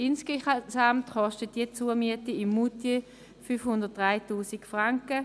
Insgesamt kostet diese Zumiete in Moutier 503 000 Franken.